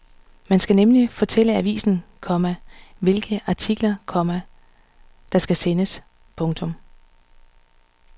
Man skal nemlig fortælle avisen, komma hvilke artikler, komma der skal sendes. punktum